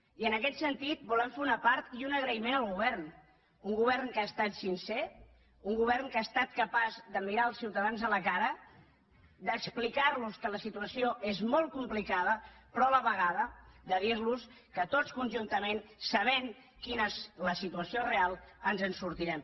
i en aquest sentit volem fer un apart i un agraïment al govern un govern que ha estat sincer un govern que ha estat capaç de mirar els ciutadans a la cara d’explicar los que la situació és molt complicada però a la vegada de dirlos que tots conjuntament sabent quina és la situació real ens en sortirem